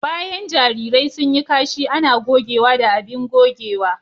Bayan jarirai sun yi kashi ana gogewa da abin gogewa.